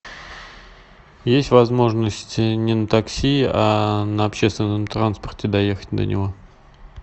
есть возможность не на такси а на общественном транспорте доехать до него